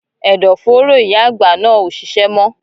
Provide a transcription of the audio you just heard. Ẹdọ fòóro ìyá àgbà náà o ṣiṣẹ mọ.